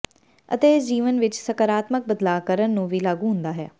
ਅਤੇ ਇਸ ਜੀਵਨ ਵਿਚ ਸਕਾਰਾਤਮਕ ਬਦਲਾਅ ਕਰਨ ਨੂੰ ਵੀ ਲਾਗੂ ਹੁੰਦਾ ਹੈ